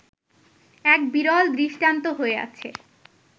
এক বিরল দৃষ্টান্ত হয়ে আছে